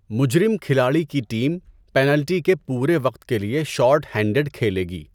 مجرم کھلاڑی کی ٹیم پینلٹی کے پورے وقت کے لئے شارٹ ہینڈڈ کھیلے گی۔